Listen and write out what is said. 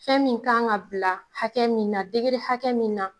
Fɛn min kan ka bila hakɛ min na , degere hakɛ min na